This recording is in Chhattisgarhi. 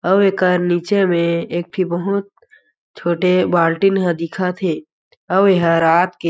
अव एकर नीचे में एक ठी बहुत छोटे बाल्टी न ह दिखत हे अउ ये ह रात के --